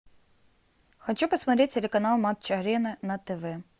хочу посмотреть телеканал матч арена на тв